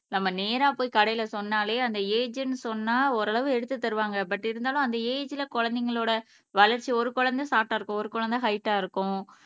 நம்ம நேரா போய் கடைல சொன்னாலே அந்த ஏஜ்னு சொன்னா ஒரளவு எடுத்து தருவாங்க பட் இருந்தாலும் அந்த ஏஜ்ல குழந்தைங்களோட வளர்ச்சி ஒரு குழந்தை ஷார்ட்டா இருக்கும் ஒரு குழந்தை ஹைட்டா இருக்கும்